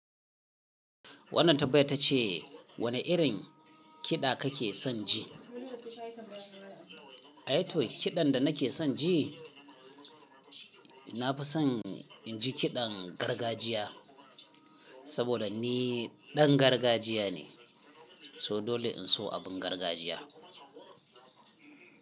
Wannan tambayar tace, wane irin kiɗa kake son ji? E to kiɗan da nake son ji, na fi son in ji kiɗan gargajiya. Saboda ni ɗan gargajiya ne, so dole in so abin gargajiya.